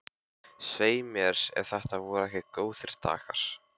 Svei mér ef þetta voru ekki góðir dagar.